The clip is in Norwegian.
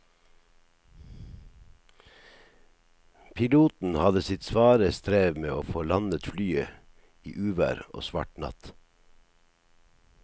Piloten hadde sitt svare strev med å få landet flyet i uvær og svart natt.